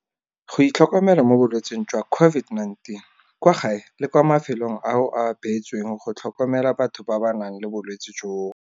Go itlhokomela mo bolwetseng jwa COVID-19 kwa gae le kwa mafelong ao a beetsweng go tlhokomela batho ba ba nang le bolwetse jono